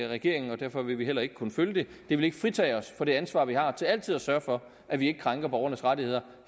regeringen og derfor vil vi heller ikke kunne følge det det vil ikke fritage os fra det ansvar vi har til altid at sørge for at vi ikke krænker borgernes rettigheder